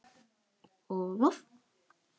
og Voff